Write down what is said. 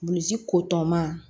Bulli ko tɔ ma